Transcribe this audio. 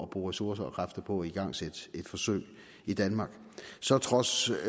bruge ressourcer og kræfter på at igangsætte et forsøg i danmark så trods